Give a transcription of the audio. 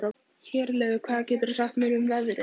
Herleifur, hvað geturðu sagt mér um veðrið?